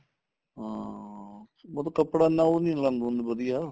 ਹਾਂ ਉਹਦਾ ਕਪੜਾ ਨਾ ਉਹ ਨੀਂ ਹੁੰਦਾ ਵਧੀਆ